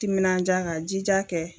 Timinanja ka jija kɛ